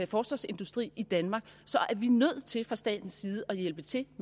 forsvarsindustri i danmark er vi nødt til fra statens side at hjælpe til